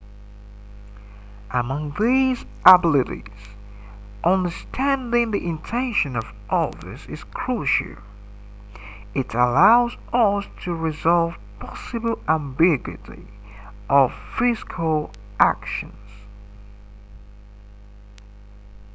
among these abilities understanding the intention of others is crucial it allows us to resolve possible ambiguities of physical actions